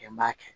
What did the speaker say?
N b'a kɛ